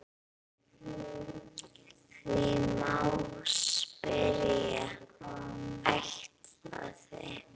Því má spyrja: ætlaði